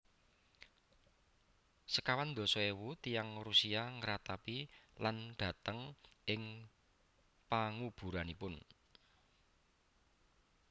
Sekawan dasa éwu tiyang Rusia ngratapi lan dhateng ing panguburanipun